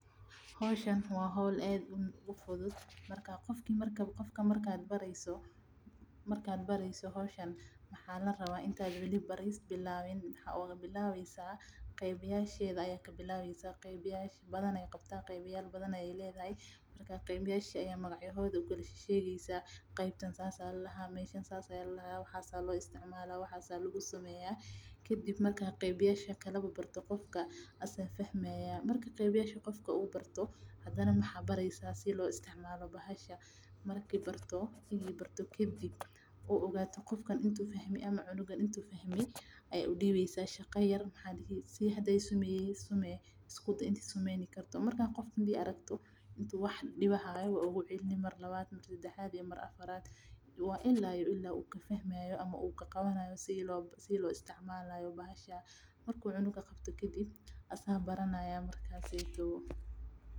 Howshan waa howl aad ufudud qofka marki aad bareyso inta aad weli barin qeeb galka yasha aayasa ukala sheegi iyo wixi lagu qabto marka qofka wuu fahmaaya hadana waa tuseysa sida loo isticmaalo hadana shaqa yar ayaa udibeysa si aad ufiriso haduu weli baranin waad oogu celineysa ilaa uu ka qabto.